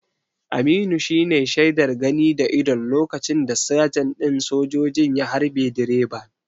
Aminu shine shaidar gani da idon lokacin da sajan ɗin sojojin ya harbe direban.